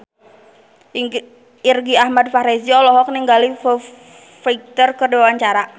Irgi Ahmad Fahrezi olohok ningali Foo Fighter keur diwawancara